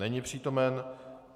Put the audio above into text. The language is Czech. Není přítomen.